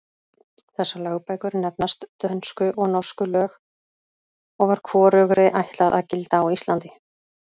Þessar lögbækur nefnast Dönsku og Norsku lög og var hvorugri ætlað að gilda á Íslandi.